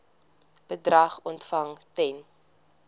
bedrag ontvang ten